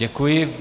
Děkuji.